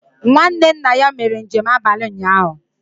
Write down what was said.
Nwanne nna ya mere njem abalị ụnyahụ